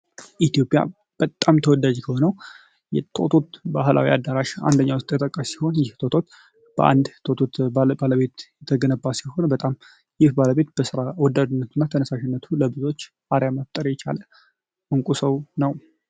በኢትዮጵያ በጣም ተወዳጅ የሆኑ ቶቶ አዳራሽ ሲሆን ባለቤትነት የተሰራ ሲሆን ይህ ባለቤት በስራ ተነሳሽነቱ መቁጠሪያ መታወቅ የቻለ እንቁ ሰው ነው።